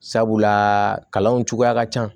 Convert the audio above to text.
Sabula kalanw cogoya ka ca